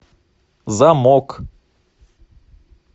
замок